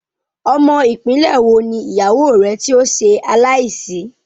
Ọmọ ìpínlẹ́ wo ni ìyàwó rẹ tí ó ṣe aláì sì?